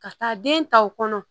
Ka taa den ta o kɔnɔ